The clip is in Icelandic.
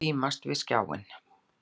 Augun límast við skjáinn.